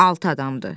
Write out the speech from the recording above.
Altı adamdır.